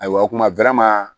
Ayiwa o kuma